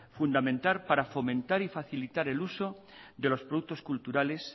fundamental para fomentar y facilitar el uso de los productos culturales